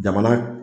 Jamana